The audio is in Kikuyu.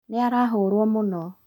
Nĩaraharũo mũno